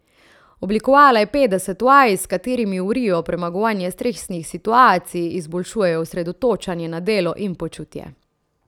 Oblikovala je petdeset vaj, s katerimi urijo premagovanje stresnih situacij, izboljšujejo osredotočanje na delo in počutje.